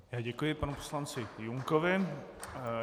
Já děkuji panu poslanci Junkovi.